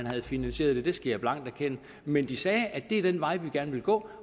havde finansieret det det skal jeg blankt erkende men de sagde at det var den vej de gerne ville gå